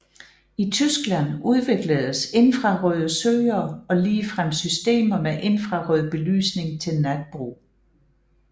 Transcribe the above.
I Tyskland udvikledes infrarøde søgere og ligefrem systemer med infrarød belysning til natbrug